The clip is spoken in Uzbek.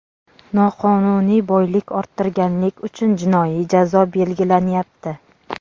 Noqonuniy boylik orttirganlik uchun jinoiy jazo belgilanyapti.